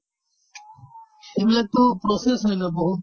এইবিলাকতো process হয় ন বহুত